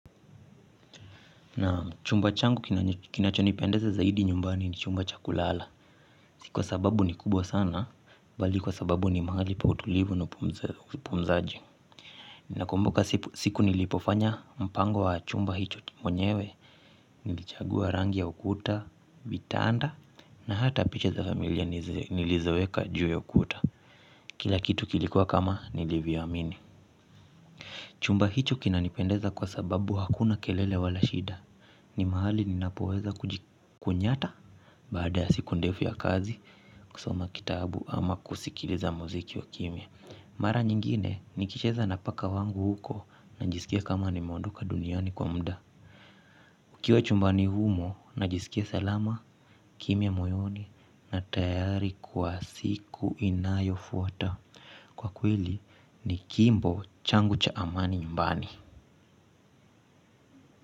Na chumba changu kinacho nipendeza zaidi nyumbani ni chumba cha kulala. Sikuwa sababu ni kubwa sana bali kwa sababu ni mahali pa utulivu na upumzaji. Na kumbuka siku nilipofanya mpango wa chumba hicho mwenyewe. Nilichagua rangi ya ukuta, vitanda na hata picha za familia nilizoweka juu ya ukuta. Kila kitu kilikuwa kama nilivyoamini. Chumba hicho kinanipendeza kwa sababu hakuna kelele wala shida. Ni mahali ninapoweza kujikunyata. Baada ya siku ndefu ya kazi kusoma kitabu ama kusikiliza mziki wa kimia. Mara nyingine nikicheza napaka wangu huko. Najisikia kama nimeondoka duniani kwa muda. Ukiwa chumbani humo najisikia selama. Kimya moyoni na tayari kwa siku inayo fwata. Kwa kweli ni kimbo changu cha amani nyumbani.